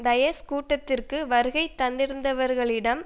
டயஸ் கூட்டத்திற்கு வருகை தந்திருந்தவர்களிடம்